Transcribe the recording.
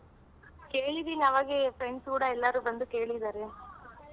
ಕೇಳಿದೀನಿ ಆಗೇ friends ಕೂಡ ಎಲ್ಲಾರು ಬಂದು ಕೇಳಿದಾರೆ